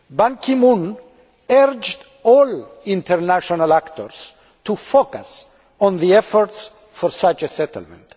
Ban Ki moon urged all international actors to focus on the efforts for such a settlement.